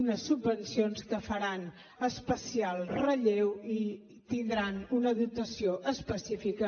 unes subvencions que faran especial relleu i tindran una dotació específica